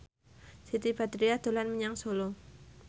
Siti Badriah dolan menyang Solo